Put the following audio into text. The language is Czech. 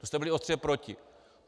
Vy jste byli ostře proti.